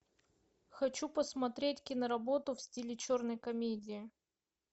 хочу посмотреть киноработу в стиле черной комедии